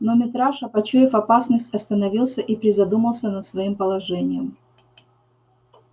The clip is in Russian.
но митраша почуяв опасность остановился и призадумался над своим положением